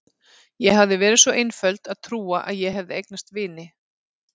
Ég hafði verið svo einföld að trúa að ég hefði eignast vini.